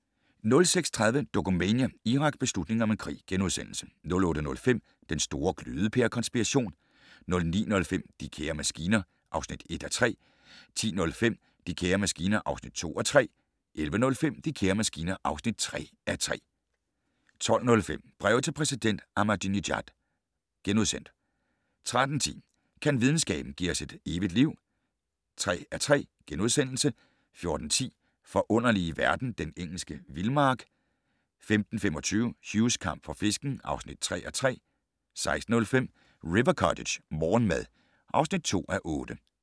06:30: Dokumania: Irak - beslutningen om en krig * 08:05: Den store glødepære-konspiration 09:05: De kære maskiner (1:3) 10:05: De kære maskiner (2:3) 11:05: De kære maskiner (3:3) 12:05: Breve til præsident Ahmadinejad * 13:10: Kan videnskaben - give os et evigt liv (3:3)* 14:10: Forunderlige verden - Den engelske vildmark 15:25: Hughs kamp for fisken (3:3) 16:05: River Cottage - morgenmad (2:8)